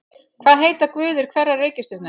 Hvað heita guðir hverrar reikistjörnu?